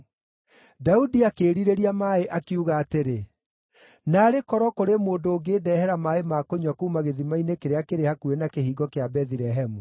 Daudi akĩĩrirĩria maaĩ, akiuga atĩrĩ, “Naarĩ korwo kũrĩ mũndũ ũngĩndehera maaĩ ma kũnyua kuuma gĩthima-inĩ kĩrĩa kĩrĩ hakuhĩ na kĩhingo kĩa Bethilehemu!”